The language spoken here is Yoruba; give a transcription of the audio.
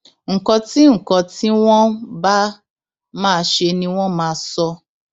nǹkan tí nǹkan tí wọn bá máa ṣe ni wọn máa sọ